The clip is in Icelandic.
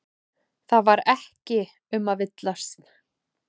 Það var ekki um að villast.